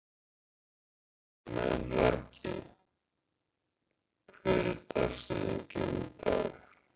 Melrakki, hver er dagsetningin í dag?